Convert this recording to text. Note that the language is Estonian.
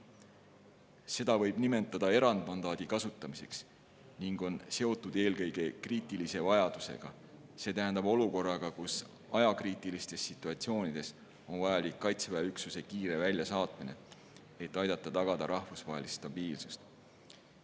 Seda võib nimetada erandmandaadi kasutamiseks ning see on seotud eelkõige kriitilise vajadusega ehk olukorraga, kus ajakriitilistes situatsioonides on vajalik Kaitseväe üksuse kiire väljasaatmine, et aidata tagada rahvusvahelist stabiilsust.